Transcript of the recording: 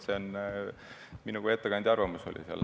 See oli minu kui ettekandja arvamus.